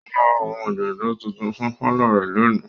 Ó máa ra àwọn òdòdó tuntun fún pálọ̀ rẹ̀ lónìí.